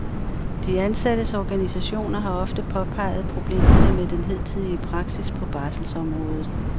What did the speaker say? De ansattes organisationer har ofte påpeget problemerne med den hidtidige praksis på barselsområdet.